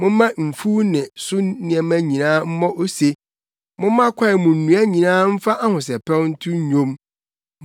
Momma mfuw ne so nneɛma nyinaa mmɔ ose; momma kwae mu nnua nyinaa mfa ahosɛpɛw nto nnwom.